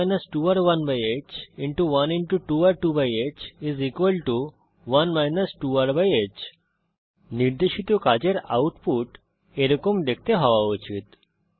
1 2r1হ্1 2r2হ্ 1 2rহ্ নির্দেশিত কাজের আউটপুট এরকম দেখতে হওয়া উচিত